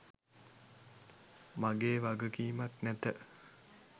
මගේ වගකීමක් නැත.